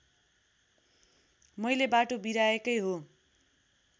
मैले बाटो बिराएकै हो